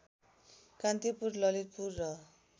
कान्तिपुर ललितपुर र